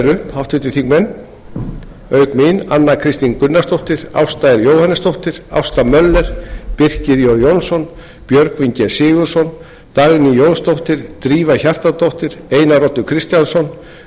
flutningsmenn eru auk mín anna kristín gunnarsdóttir ásta r jóhannesdóttir ásta möller birkir jón jónsson björgvin sigurðsson dagný jónsdóttir drífa hjartardóttir einar oddur kristjánsson guðjón